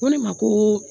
Ko ne ma ko